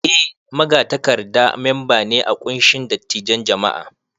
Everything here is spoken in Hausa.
Eh, Magatakarda mamba ne a kunshin dattijan jam'a.